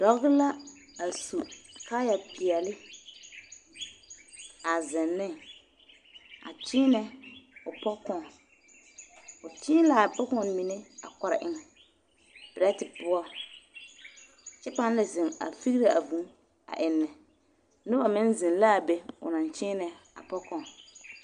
Pɔge la a su kaaya peɛle a zeŋ ne a kyeenɛ o pokɔɔne, o kyēē l'a pokɔɔne mine a kɔre eŋ perɛte poɔ kyɛ pãã la zeŋ a figire a vūū a ennɛ, noba meŋ zeŋ l'a be o naŋ kyeenɛ a pokɔɔne.